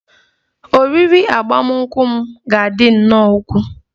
Oriri agbamakwụkwọ m ga-adị nnọọ ukwuu